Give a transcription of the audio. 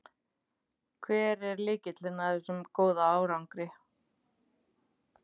Hver er lykillinn að þessum góða árangri?